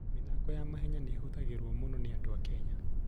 mĩthako ya mahenya nĩ ĩhũthagĩrũo mũno nĩ andũ a Kenya.